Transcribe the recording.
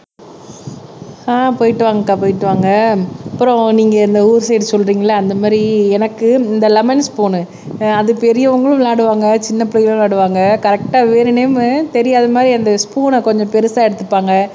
ஆஹ் போயிட்டு வாங்க அக்கா போயிட்டு வாங்க அப்புறம் நீங்க இந்த ஊர் சைடு சொல்றீங்கல்ல அந்த மாதிரி எனக்கு இந்த லெமன் ஸ்பூன்னு அது பெரியவங்களும் விளையாடுவாங்க சின்னப் பிள்ளைகளும் விளையாடுவாங்க கரெக்ட்டா வேணுனேம்மு தெரியாத மாதிரி அந்த ஸ்பூன் கொஞ்சம் பெருசா எடுத்துப்பாங்க